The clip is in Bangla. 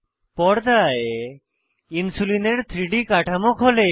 পর্দায় ইনসুলিনের 3ডি কাঠামো খোলে